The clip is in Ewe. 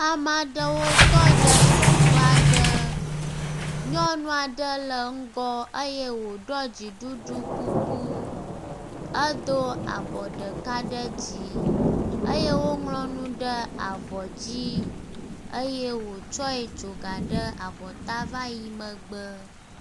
Ame aɖewo tɔ ɖe teƒe aɖe. Nyɔnu aɖe le ŋgɔ eye woɖu dziɖuɖu kuku edo abɔ ɖeka ɖe dzi eye woŋlɔ nu ɖe avɔ dzi eye wotsɔ tso ga ɖe abɔta va yi megbe.